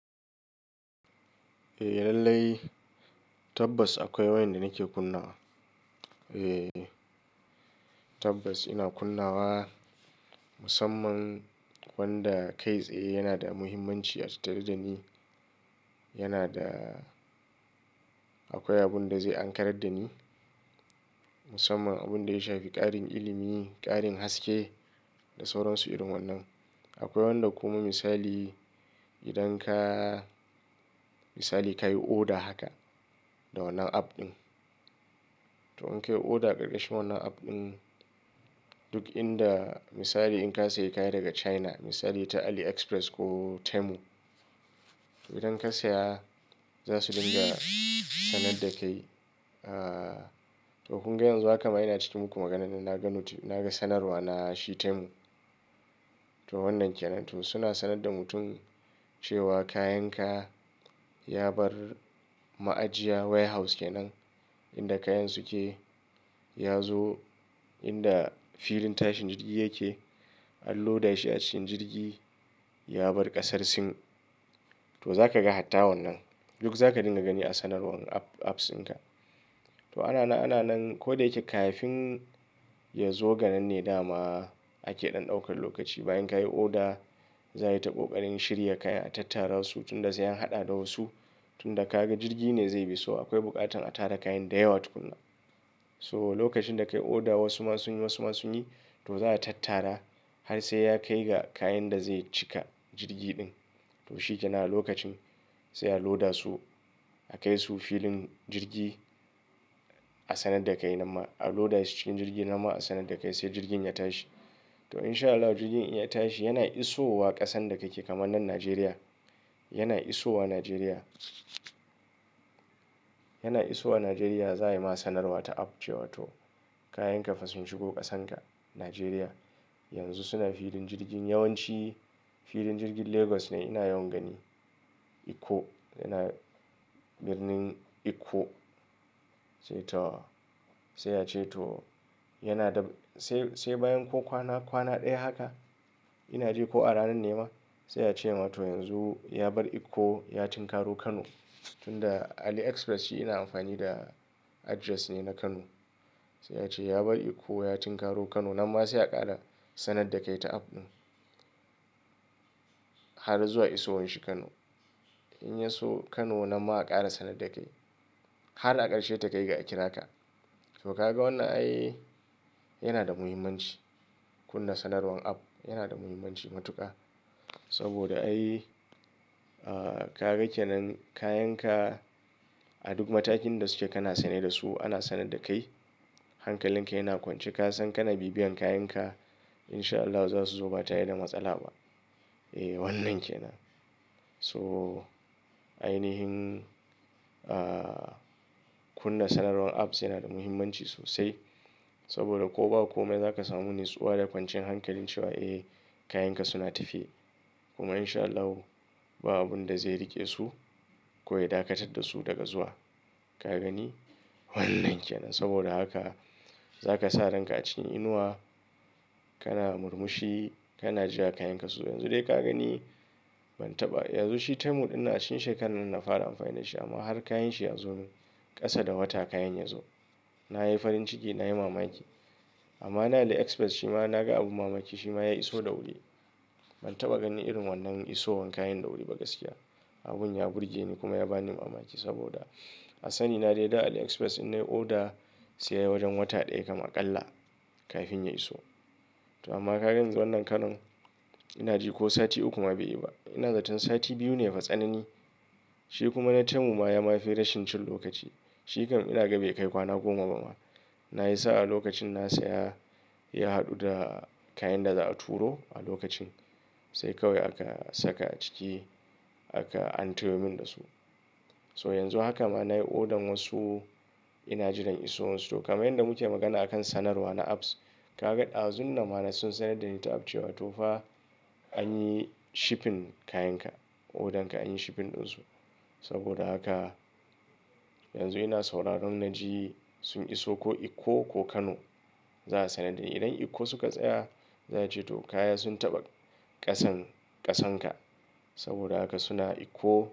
Eh lallai tabbas akwai wayanda nake kunnawa. Tabbas ina kunnawa, musamman wanda kai tsaye yana da muhimmanci a tatar da ni. Yana da akwai abun da zai ankarar da ni, musamman abin da ya shafi karin ilimi, ƙarin haske, da sauran su irin wannan. Akwai wanda kuma misali idan ka misali kayi oda haka. Da wannan app ɗin. To in kai oda ƙarƙashin wannan app ɗin, duk inda misali in ka sayi kaya daga China misali ta Aliexpress ko Temu. Idan ka saya za su dinga sanar da kai. Toh kuma yanzu haka ma ina cikin muku maganan nan naga sanarwa na shi Temu. Toh wannan kenan, to suna sanar da mutum cewa kayan ka ya bar ma'ajiya way house kenan. Inda kayan su ke ya zo inda filin tashin jirgi yake an loda shi a cikin jirgi ya bar ƙasar sin. To zaka ga hatta wannan. Duk zaka dinga gani a sanarwar apps ɗin ka. Toh ana nan ana nan ko da yake kafin ya zo ganan ne dama ake ɗan ɗaukar lokaci, bayan ka yi oda za a yi ta ƙoƙarin shirya kaya tattara su tunda su an haɗa da wasu. Tunda ka ga jirgi ne zai bi, so akwai buƙatan a tara kayan da yawa tukuna. So lokacin da ka yi oda wasu ma sun yi wasu ma sun yi to za a tattara har sai ya kai ga kayan da zai cika jirgi ɗin. Toh shikenan a lokacin sai a loda su a kai su filin jirgi a sanar da kai nama a loda cikin jirgi nama a sanar da kai sai jirgin ya tashi. To in sha Allah jirgin in ya tashi yana isowa ƙasan da kake kamar nan Nigeria. Yana isowa Nigeria, yana isowa Nigeria za a yi ma sanarwa ta app cewa toh kayan ka fa sun shigo ƙasan ka Nigeria. Yanzu suna filin jirgin yawanci filin jirgin Lagos ne ina yawan gani. Ikko yana birnin Ikko sai toh sai a ce toh yana da sai, sai bayan ko kwana, kwana ɗaya haka ina ji ko a ranan ne ma sai a ce mata yanzu ya bar Ikko ya tin karo Kano. Tun da Aliexpress shi ina amfani da address ne na Kano. Sai ya ce ya bar Ikko ya tin karo Kano nama sai a ƙara sanar da kai ta app ɗin. Har zuwa iso shi Kano. In ya so Kano nama a ƙara sanar da kai. Har a ƙarshe ta kai ga a kira ka. Toh ka ga wannan ai yana da muhimmanci wanna sanarwan app yana da muhimmanci matuƙa. Saboda ai ka rage nan kayan ka. A duk matakin da suke kana sane da su ana sanar da kai. Hankalin ka yana kwance kasan kana bibiyan kayan ka in sha Allah za su zo ba tare da matsala ba. Eh wannan kenan. Toh ainihin kunna sanarwan apps yana da muhimmanci sosai. Saboda ko ba komai za ka samu nutsuwa da kwancin hankali cewa eh kayan ka suna tafiya. Kuma in sha Allah ba abun da zai riƙe su ko ya dakatar da su daga zuwa. Ka gani wannan kenan saboda haka za ka sa ranka a cikin inuwa kana murmushi kana jira kayan ka su zo. Yanzu dai ka gani ban taɓa yanzu shi Temu ina cikin shekarar nan na fara amfani da shi amma har kayan shi ya zo min ƙasa da wata kayan ya zo. Na yi farin ciki na yi mamaki. Amma na Aliexpress shi ma na ga abu mamaki shi ma ya iso da wuri. Ban taɓa gani irin wannan isowar kayan da wuri ba gaskiya. Abun ya burge ni, kuma ya ba ni mamaki saboda a sani na dai da Aliexpress in nayi oda sai wajen wata ɗaya kamar ƙalla kafin ya iso. Toh amma ka gan yanzu wannan Kano ina ji ko sati uku ma bai yi ba. Ina zaton sati biyu ne fa tsanani. Shi kuma na Temu ma ya ma fi rashin cin lokaci. Shi kam ina gaba ya kai kwana goma ba ma. Na yi sa'a lokacin na saya ya haɗu da kayan da za'a turo a lokacin sai kawai aka saka a ciki aka an toyo min da su. Toh yanzu haka ma na yi odan wasu. Ina jiran isowarsu, toh kamar yadda muke magana a kan sanarwa na apps. Ka ga ɗazu nan ma na sun sanar da ni ta app cewa to fa. An yi shipping kayan ka, odan ka an yi shipping ɗin su. Saboda haka, yanzu ina sauraron naji sun iso ko Ikko ko Kano. Za a sanar da ni. Idan Ikko suka tsaya za'a ce to kaya sun taɓa ƙasan ƙasan ka. Saboda haka suna Ikko.